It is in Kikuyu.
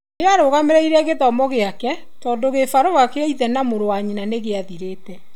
Nĩarũgamirie gĩthomo gĩake tondũ gĩbarũa gĩa ithe na mũrũ wa nyina nĩgĩathirĩte.